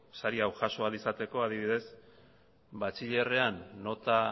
sari hau jaso ahal izateko adibidez batxilerrean nota